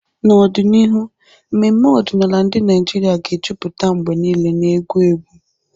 N'ọdịnihu, mmemme ọdịnala ndị Naijiria ga-ejupụta mgbe niile na egwu egwu.